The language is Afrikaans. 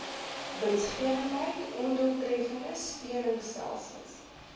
winsgewendheid ondoeltreffende steunstelsels